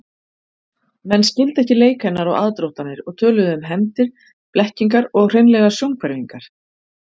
Menn skildu ekki leik hennar og aðdróttanir og töluðu um hefndir, blekkingar og hreinlega sjónhverfingar.